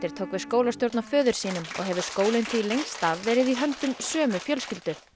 tók við skólastjórn af föður sínum og hefur skólinn því lengst af verið í höndum sömu fjölskyldu